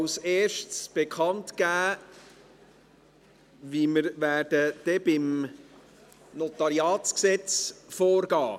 Als Erstes gebe ich bekannt, wie wir beim Notariatsgesetz (NG) vorgehen werden.